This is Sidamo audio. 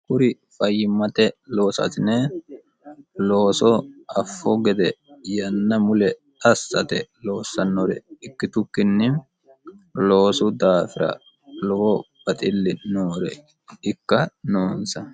kuri fayyimmate loosaasine loosoo affu gede yanna mule assate loossannore ikkitukkinni loosu daafira lowo baxilli noore ikka noonsa.